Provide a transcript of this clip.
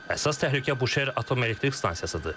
Əsas təhlükə Buşer atom elektrik stansiyasıdır.